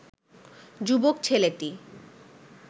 যুবক ছেলেটি